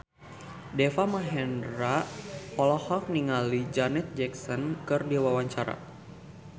Deva Mahendra olohok ningali Janet Jackson keur diwawancara